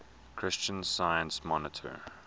christian science monitor